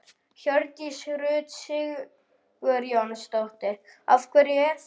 Hjördís Rut Sigurjónsdóttir: Af hverju er það?